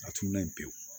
A tun man yen pewu